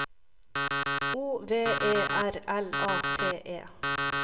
O V E R L A T E